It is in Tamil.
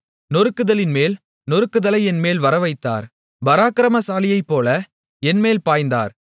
நொறுக்குதலின்மேல் நொறுக்குதலை என்மேல் வரவைத்தார் பராக்கிரமசாலியைப்போல என்மேல் பாய்ந்தார்